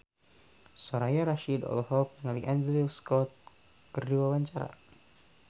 Soraya Rasyid olohok ningali Andrew Scott keur diwawancara